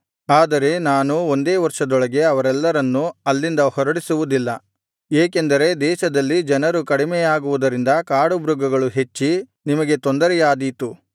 ಆದರೆ ನಾನು ಒಂದೇ ವರ್ಷದೊಳಗೆ ಅವರೆಲ್ಲರನ್ನು ಅಲ್ಲಿಂದ ಹೊರಡಿಸುವುದಿಲ್ಲ ಏಕೆಂದರೆ ದೇಶದಲ್ಲಿ ಜನರು ಕಡಿಮೆಯಾಗುವುದರಿಂದ ಕಾಡುಮೃಗಗಳು ಹೆಚ್ಚಿ ನಿಮಗೆ ತೊಂದರೆಯಾದೀತು